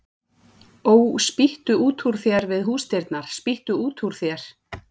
Ó, spýttu út úr þér við húsdyrnar, spýttu út úr þér